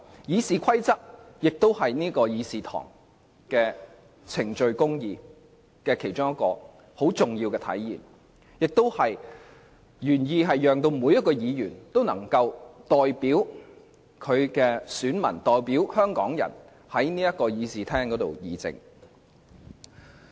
《議事規則》是議事堂上程序公義的重要體現，原意是讓每位議員都能夠代表其選民和香港人在議事堂上議政。